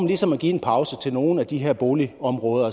ligesom vil give en pause til nogle af de her boligområder